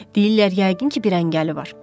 Deyirlər yəqin ki, bir əngəli var.